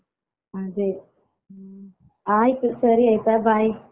ಅದೇ ಹ್ಮ್ ಆಯ್ತು ಸರಿ ಆಯ್ತಾ bye .